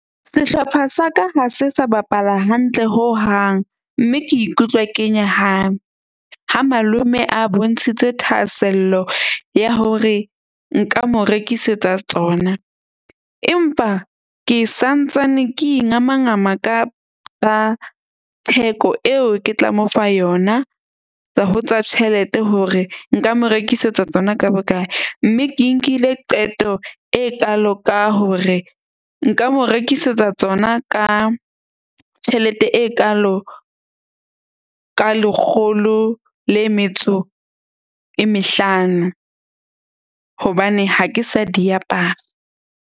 Sehlopha sa ka ha se sa bapala hantle hohang. Mme ke ikutlwa ke nyahame ha malome a bontshitse thahasello ya hore nka mo rekisetsa tsona. Empa ke santsane ke ingamangama ka theko eo, ke tla mo fa yona ho tsa tjhelete hore nka mo rekisetsa tsona ka bokae. Mme ke nkile qeto e kaalo ka hore nka mo rekisetsa tsona ka tjhelete e kaalo ka lekgolo le metso e mehlano, hobane ha ke sa di apara.